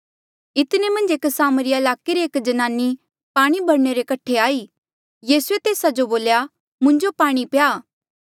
इतने मन्झ एक सामरिया ईलाके री एक ज्नाने पाणी भरणे रे कठे आई यीसूए तेस्सा जो बोल्या मुंजो पाणी प्या